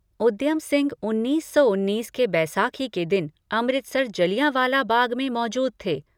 उद्यम सिंह उन्नीस सौ उन्नीस के बैसाखी के दिन अमृतसर जलियावालां बाग में मौजूद थे।